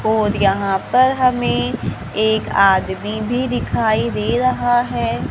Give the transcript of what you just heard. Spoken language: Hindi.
और यहां पर हमें एक आदमी भी दिखाई दे रहा है।